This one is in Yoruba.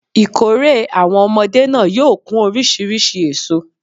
Ìkórè àwon omodé náà yóò kún orísirísi èso